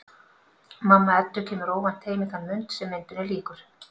Mamma Eddu kemur óvænt heim í þann mund sem myndinni lýkur.